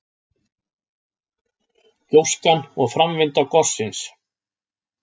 Gjóskan og framvinda gossins.